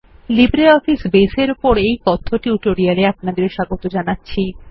LibreOffice Base এর উপর কথ্য টিউটোরিয়ালে আপনাদের স্বাগত জানাচ্ছি